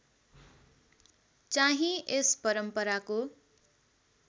चाहिँ यस परम्पराको